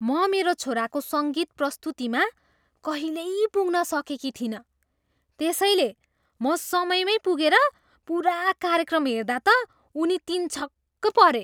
म मेरो छोराको सङ्गीत प्रस्तुतिमा कहिल्यै पुग्न सकेकी थिइनँ, त्यसैले म समयमै पुगेर पुरा कार्यक्रम हेर्दा त उनी तिन छक परे।